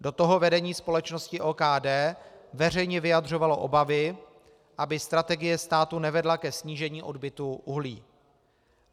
Do toho vedení společnosti OKD veřejně vyjadřovalo obavy, aby strategie státu nevedla ke snížení odbytu uhlí.